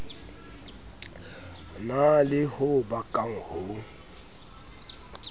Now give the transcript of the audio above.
na le ho bakang ho